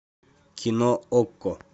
кино окко